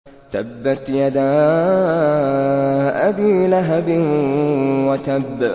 تَبَّتْ يَدَا أَبِي لَهَبٍ وَتَبَّ